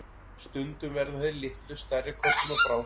stundum verða þeir litlu stærri körlum að bráð